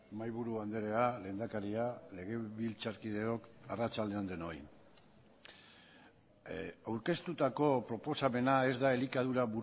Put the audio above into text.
mahaiburu andrea lehendakaria legebiltzarkideok arratsalde on denoi aurkeztutako proposamena ez da elikadura